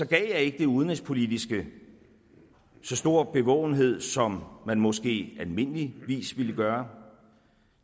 gav jeg ikke det udenrigspolitiske så stor bevågenhed som man måske almindeligvis ville gøre